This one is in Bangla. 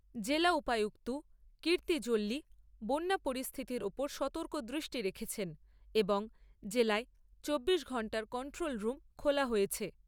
জেলা উপায়ুক্ত কীৰ্ত্তি জল্লি বন্যা পরিস্থিতির উপর সতর্ক দৃষ্টি রেখেছেন এবং জেলায় চব্বিশ ঘন্টার কন্ট্রোল রুম খোলা হয়েছে।